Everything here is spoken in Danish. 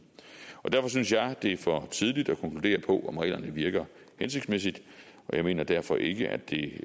og derfor synes jeg det er for tidligt at konkludere på om reglerne virker hensigtsmæssigt og jeg mener derfor ikke at det